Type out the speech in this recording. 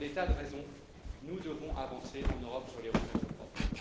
Pour des tas de raisons, nous devons avancer en Europe sur les ressources propres.